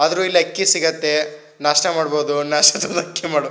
ಆದ್ರೂ ಇಲ್ಲಿ ಅಕ್ಕಿ ಸಿಗುತ್ತೆ ನಾಷ್ಟಾ ಮಾಡಬಹುದು ನಾಷ್ಟದಿಂದ ಅಕ್ಕಿ ಮಾಡು--